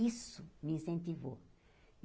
Isso me incentivou.